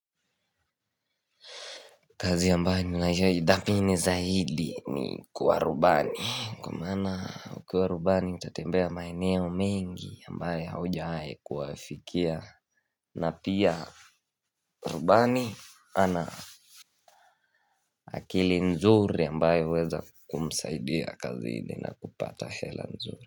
Kazi ambayo niyoidhaminii zaidi ni kuwa rubani Kwa mana ukiwa rubani utatembea maeneo mengi ambayo hujwai kuwafikia na pia rubani ana akili nzuri ambayo huweza kumsaidia kazi ni na kupata hela nzuri.